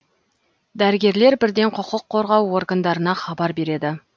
дәрігерлер бірден құқық қорғау органдарына хабар береді